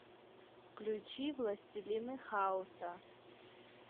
включи властелины хаоса